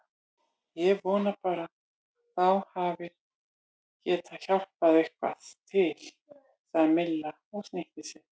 Ég vona bara að þú hafir getað hjálpað eitthvað til sagði Milla og snýtti sér.